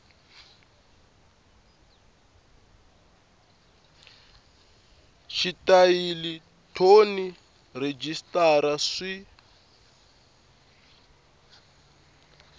xitayili thoni na rhejisitara swi